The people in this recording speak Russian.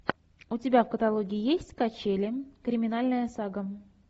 у тебя в каталоге есть качели криминальная сага